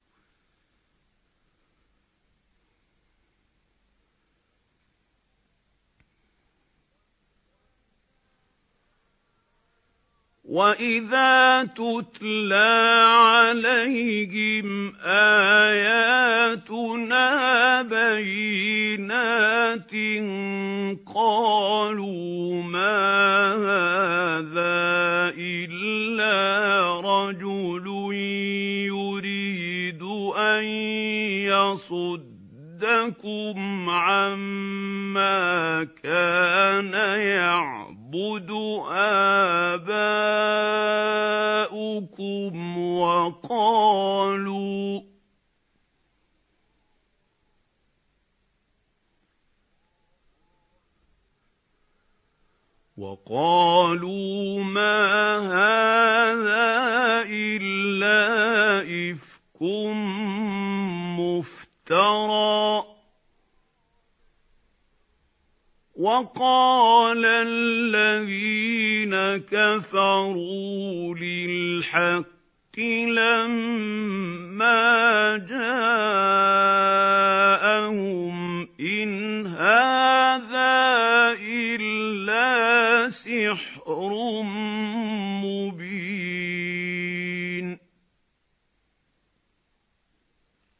وَإِذَا تُتْلَىٰ عَلَيْهِمْ آيَاتُنَا بَيِّنَاتٍ قَالُوا مَا هَٰذَا إِلَّا رَجُلٌ يُرِيدُ أَن يَصُدَّكُمْ عَمَّا كَانَ يَعْبُدُ آبَاؤُكُمْ وَقَالُوا مَا هَٰذَا إِلَّا إِفْكٌ مُّفْتَرًى ۚ وَقَالَ الَّذِينَ كَفَرُوا لِلْحَقِّ لَمَّا جَاءَهُمْ إِنْ هَٰذَا إِلَّا سِحْرٌ مُّبِينٌ